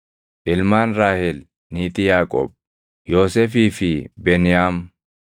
Ilmaan Raahel niitii Yaaqoob: Yoosefii fi Beniyaam.